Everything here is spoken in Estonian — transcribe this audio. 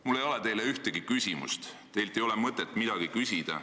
Mul ei ole teile ühtegi küsimust, teilt ei ole mõtet midagi küsida.